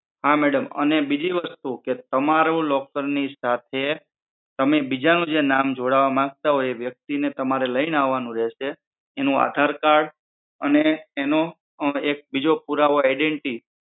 હા madam અને બીજી વસ્તુ કે તમારું locker ની સાથે બીજાનું નામ જોડાવા માંગતા હોય તો એ વ્યક્તિ ને તમારે લઈને આવાનું રહેશે એનું આધાર card અને એનો એક બીજો પુરાવો identity